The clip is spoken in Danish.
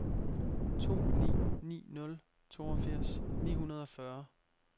to ni ni nul toogfirs ni hundrede og fyrre